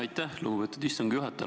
Aitäh, lugupeetud istungi juhataja!